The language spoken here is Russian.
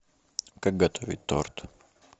как готовить торт